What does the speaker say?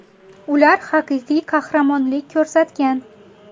Ular haqiqiy qahramonlik ko‘rsatgan.